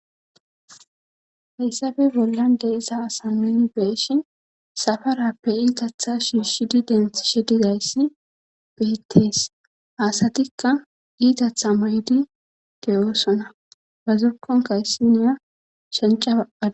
heyssabe bollan de iza asa meni beeshi safarappe iitatha shiishidi denthi she dizayssi betees asatikka iitatha maydi de7oosona ba zokonkayssiniya shenca baada